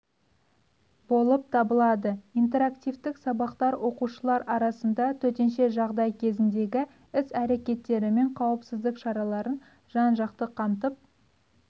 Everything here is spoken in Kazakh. болып табылады интерактивтік сабақтар оқушылар арасында төтенше жағдай кезіндегі іс-әрекеттері мен қауіпсіздік шараларын жан-жақты қамтып